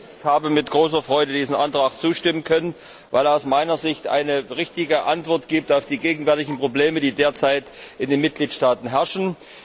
Auch ich habe mit großer Freude diesem Antrag zustimmen können, weil er aus meiner Sicht eine richtige Antwort auf die gegenwärtigen Probleme gibt, die derzeit in den Mitgliedstaaten herrschen.